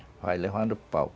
vai levando pau.